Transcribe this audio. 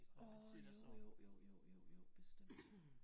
Årh jo jo jo jo bestemt